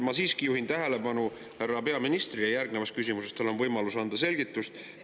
Ma siiski juhin sellele härra peaministri tähelepanu, järgnevas küsimuses on tal võimalus anda selgitust.